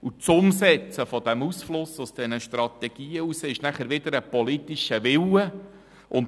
Das Umsetzen dieses Ausflusses aus den Strategien heraus ist wiederum ein politischer Wille.